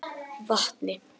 Vatni